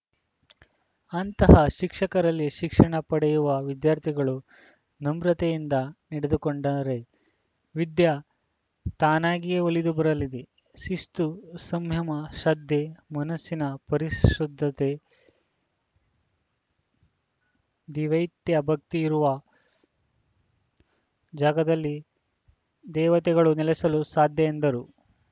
ಅಂತಹ ಶಿಕ್ಷಕರಲ್ಲಿ ಶಿಕ್ಷಣ ಪಡೆಯುವ ವಿದ್ಯಾರ್ಥಿಗಳು ನಮ್ರತೆಯಿಂದ ನಡೆದುಕೊಂಡರೆ ವಿದ್ಯೆ ತಾನಾಗಿಯೇ ಒಲಿದು ಬರಲಿದೆ ಶಿಸ್ತು ಸಂಯಮ ಶದ್ಧೆ ಮನಸ್ಸಿನ ಪರಿ ಶುದ್ಧತೆ ದಿವ್ಯತೆ ಭಕ್ತಿ ಇರುವ ಜಾಗದಲ್ಲಿ ದೇವತೆಗಳು ನೆಲೆಸಲು ಸಾಧ್ಯ ಎಂದರು